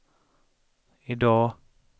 idag